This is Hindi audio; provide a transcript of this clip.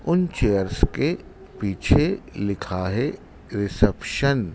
उन चेयर्स के पीछे लिखा है रिसेप्शन --